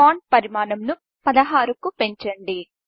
font పరిమాణం 16కు పెంచండి